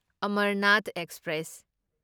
Amarnath express